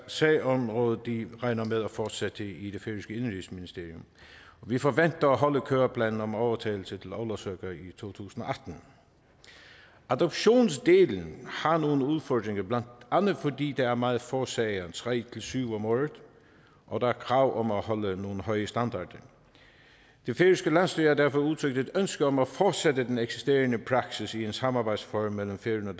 sagsområde regner med at fortsætte i det færøske indenrigsministerium vi forventer at holde køreplanen om overtagelse i to tusind og atten adoptionsdelen har nogle udfordringer blandt andet fordi der er meget få sager tre syv om året og der er krav om at holde nogle høje standarder det færøske landsstyre har derfor udtrykt et ønske om at fortsætte den eksisterende praksis i en samarbejdsform mellem færøerne